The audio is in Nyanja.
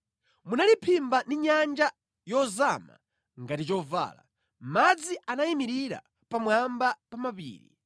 Munaliphimba ndi nyanja yozama ngati chovala; madzi anayimirira pamwamba pa mapiri.